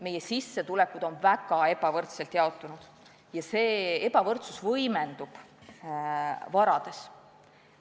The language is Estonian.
Meie sissetulekud on väga ebavõrdselt jaotunud ja see ebavõrdsus võimendub inimeste vara suuruses.